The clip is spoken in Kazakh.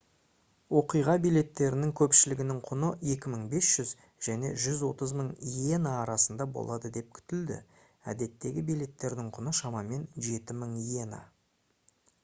оқиға билеттерінің көпшілігінің құны 2500 және 130 000 иена арасында болады деп күтілді әдеттегі билеттердің құны шамамен 7000 иена